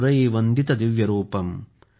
वन्दित दिव्य रूपम् ।